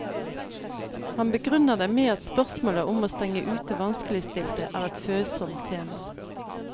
Han begrunner det med at spørsmålet om å stenge ute vanskeligstilte er et følsomt tema.